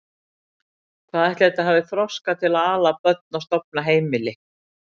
Hvað ætli þetta hafi þroska til að ala börn og stofna heimili!